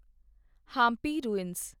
Hampi ruins